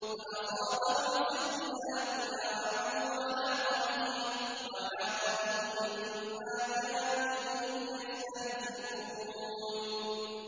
فَأَصَابَهُمْ سَيِّئَاتُ مَا عَمِلُوا وَحَاقَ بِهِم مَّا كَانُوا بِهِ يَسْتَهْزِئُونَ